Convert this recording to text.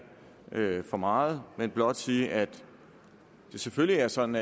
for meget men blot sige at det selvfølgelig er sådan